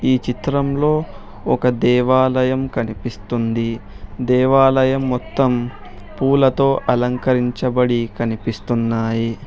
ఈ చిత్రంలో ఒక దేవాలయం కనిపిస్తుంది దేవాలయం మొత్తం పూలతో అలంకరించబడి కనిపిస్తున్నాయి.